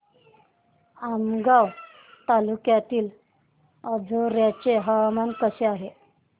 आमगाव तालुक्यातील अंजोर्याचे हवामान कसे आहे